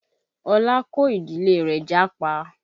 Ọlá kó ìdílé rẹ̀ jápa